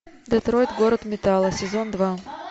детройт город металла сезон два